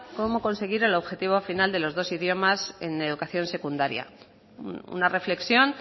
cómo conseguir el objetivo final de los dos idiomas en educación secundaria una reflexión